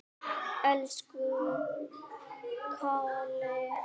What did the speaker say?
Elsku Kalli.